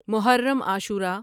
Muharram Ashura